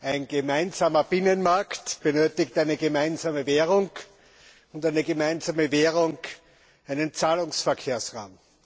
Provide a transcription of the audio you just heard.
Ein gemeinsamer Binnenmarkt benötigt eine gemeinsame Währung, und eine gemeinsame Währung einen Zahlungsverkehrsraum.